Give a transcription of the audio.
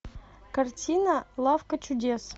картина лавка чудес